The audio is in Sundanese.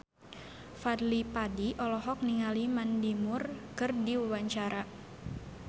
Fadly Padi olohok ningali Mandy Moore keur diwawancara